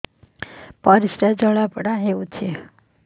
ପରିସ୍ରା ଜଳାପୋଡା ହଉଛି